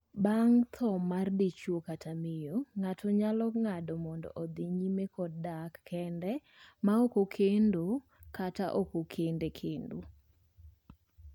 bang' thoo mar dichwo kata miyo, ng'ato nyalo ng'ado mondo odhi nyime kod dak kend ma ok okendo kata ok okende kendo.